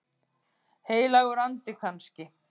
Heilagur andi kannski?